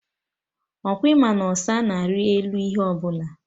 Ọkwa ịma na ọsa na-ari elu ihe ọbụla?